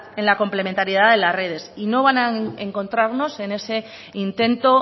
en la complementariedad de las redes y no van a encontrarnos en ese intento